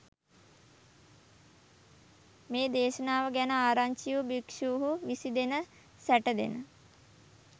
මේ දේශනාව ගැන ආරංචි වූ භික්ෂූහු විසිදෙන සැටදෙන